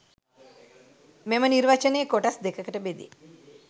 මෙම නිර්වචනය කොටස් දෙකකට බෙදේ.